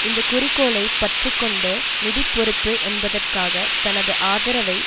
இந்த குறிக்கோளை பற்றி கொண்டு நிதி பொறுப்பு என்பதற்காக தனது ஆதரவை